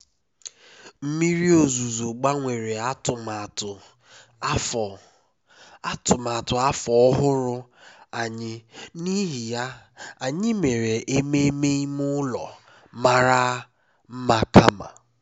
mmiri ozuzo gbanwere atụmatụ afọ atụmatụ afọ ọhụrụ anyị n'ihi ya anyị mere ememe ime ụlọ mara mma kama